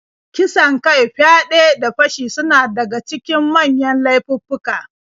Kisan kai, fyaɗe, da fashi suna daga cikin manyan laifuffuka.